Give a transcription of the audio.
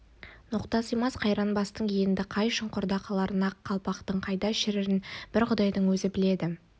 ноқта сыймас қайран бастың енді қай шұңқырда қаларын ақ қалпақтың қайда шірірін бір құдайдың өзі біледі